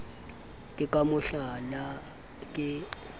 ke ka mo hlala ke